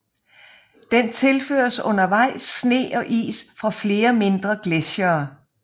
Den tilføres undervejs sne og is fra flere mindre gletsjere